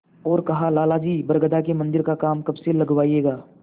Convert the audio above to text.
और कहालाला जी बरगदा के मन्दिर का काम कब से लगवाइएगा